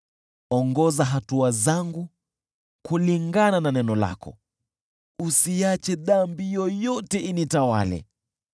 Ongoza hatua zangu kulingana na neno lako, usiache dhambi yoyote initawale.